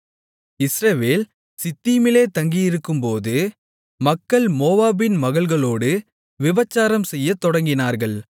இஸ்ரவேல் சித்தீமிலே தங்கியிருக்கும்போது மக்கள் மோவாபின் மகள்களோடு விபசாரம் செய்யத் தொடங்கினார்கள்